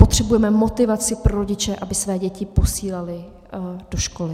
Potřebujeme motivaci pro rodiče, aby své děti posílali do školy.